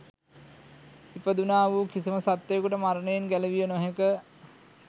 ඉපදුණා වූ කිසිම සත්වයෙකුට මරණයෙන් ගැලවිය නොහැක